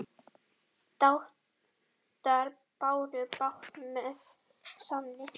Dátar báru bát með sann.